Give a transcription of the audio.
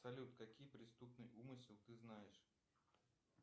салют какие преступный умысел ты знаешь